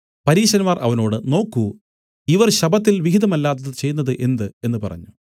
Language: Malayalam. പരീശന്മാർ അവനോട് നോക്കൂ ഇവർ ശബ്ബത്തിൽ വിഹിതമല്ലാത്തത് ചെയ്യുന്നതെന്ത് എന്നു പറഞ്ഞു